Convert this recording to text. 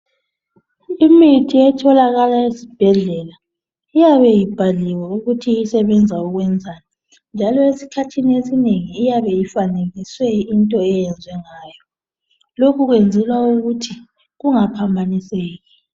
Imithi etholakala esibhedlela iyabe ibhaliwe ukuthi isebenza ukwenzani njalo esikhathini esinengi iyabe ifanekiswe into enjengayo lokhu kwenzelwa ukuthi kungaphambaniseki